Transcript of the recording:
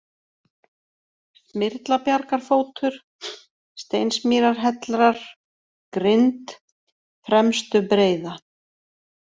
Smyrlabjargafótur, Steinsmýrarhellrar, Grind, Fremstu-Breiða